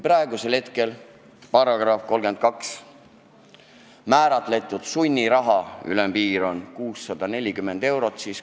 Praegu sätestab keeleseaduse § 32 inspektsiooni ettekirjutuse täitmata jätmise eest kohaldatava sunniraha ülemmääraks 640 eurot.